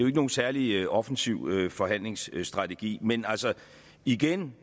ikke nogen særlig offensiv forhandlingsstrategi men altså igen